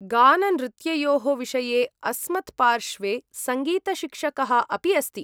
गाननृत्ययोः विषये अस्मत्पार्श्वे सङ्गीतशिक्षकः अपि अस्ति।